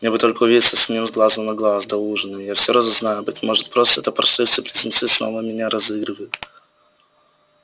мне бы только увидеться с ним с глазу на глаз до ужина и я все разузнаю быть может просто эти паршивцы-близнецы снова меня разыгрывают